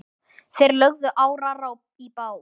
Þeir lögðu árar í bát.